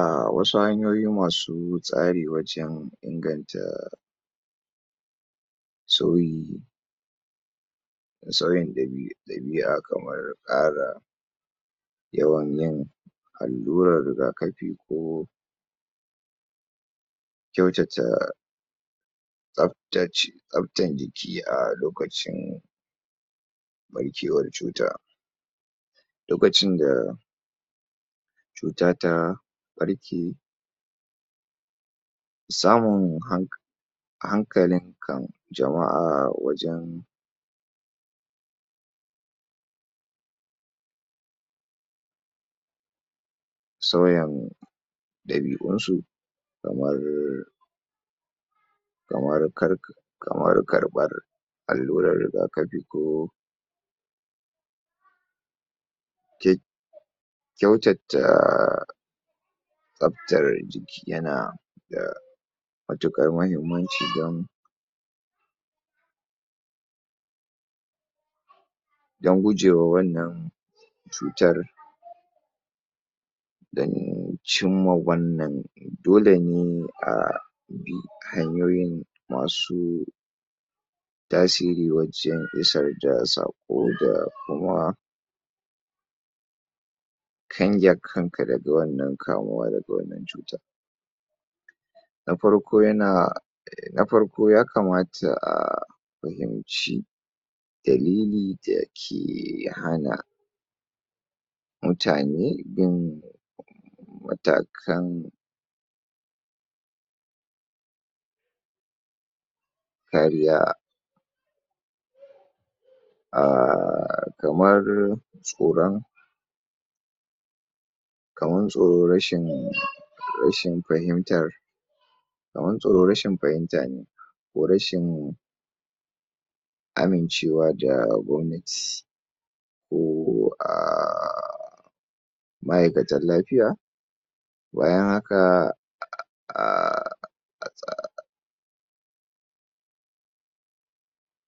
A wasu hanyoyi masu tsari wajen inganta sauyi da sauyin ɗabi'a kamar tsara yawan yin allurar rigakafi ko kyautata tsabtan jiki a lokacin ɓarkewar cuta to baccin da cuta ta ɓarke samun hank hankalin kan jama'a wajen sauyan ɗabi'un su kamar kamar karɓar allurar rigakafi ko ke kyautata tsabtar jiki yana da matuƙar mahimmanci dan dan gujewa wannan cutar dan cimma wannan dole ne a bi hanyoyin masu tasiri wajen isar da saƙo da kuma kange kan ka daga wannan kamuwa daga wannan cuta na farko yana, na farko yakamata a fahimci dalili a yake hana mutane yin matakan kariya ah kamar tsoron kaman tsoron rashin fahimtar kaman tsoro rashin fahimta ne ko rashin amincewa da gwamnati ko ah ma'aikatan lafiya bayan haka a a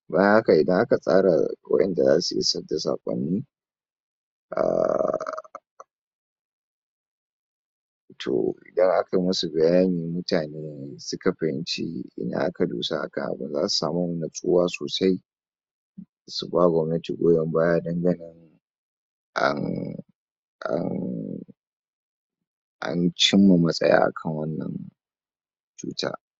bayan haka idan aka tsara waƴanda zasu isar da saƙonni a to yana ta musu bayani mutane ne suka fahimci ina aka dosa akan abin zasu samu matsuwa sosai su ba gwamnati goyon baya dan ganin an an an cimma matsaya akan wannan cuta.